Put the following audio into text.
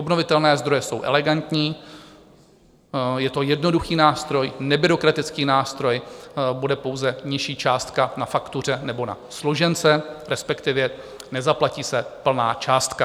Obnovitelné zdroje jsou elegantní, je to jednoduchý nástroj, nebyrokratický nástroj, bude pouze nižší částka na faktuře nebo na složence, respektive nezaplatí se plná částka.